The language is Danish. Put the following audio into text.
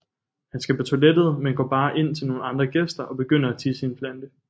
Han skal på toilettet men går bare ind til nogle andre gæster og begynder at tisse i en plante